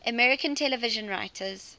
american television writers